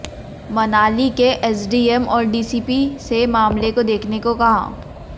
मनाली के एसडीएम और डीसीपी से मामले को देखने को कहा